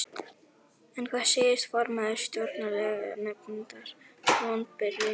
En hvað segir formaður Stjórnlaganefndar, vonbrigði?